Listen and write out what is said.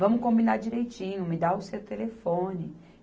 Vamos combinar direitinho, me dá o seu telefone.